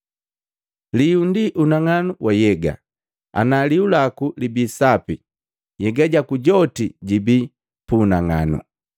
Lihu ndi unang'anu wa nhyega. Ana lihu laku libi sapi, nhyega jaku joti jibii pu unang'anu.